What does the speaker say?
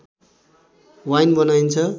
wine बनाइन्छ